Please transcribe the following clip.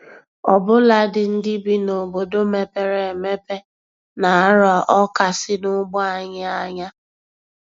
Ọbụladị ndị bi n'obodo mepere emepe na-arọ Ọka si n'ugbo anyị ányá